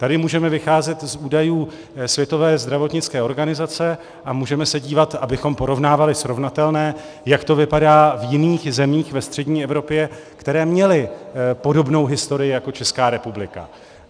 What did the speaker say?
Tady můžeme vycházet z údajů Světové zdravotnické organizace a můžeme se dívat, abychom porovnávali srovnatelné, jak to vypadá v jiných zemích ve střední Evropě, které měly podobnou historii jako Česká republika.